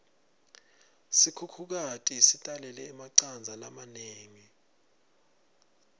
sikhukhukati sitalele emacandza lamanengi